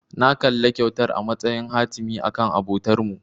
Na kalli kyautar a matsayin hatimi akan abotarmu.